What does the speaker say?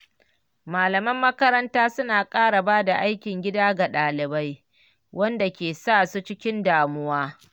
Malaman makaranta suna ƙara ba da aikin gida ga ɗalibai, wanda ke sa su cikin damuwa.